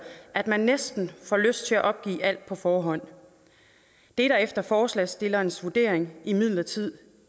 at man næsten får lyst til at opgive alt på forhånd det er der efter forslagsstillernes vurdering imidlertid